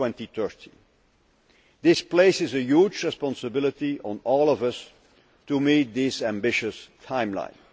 2013. This places a huge responsibility on all of us to meet this ambitious timeline.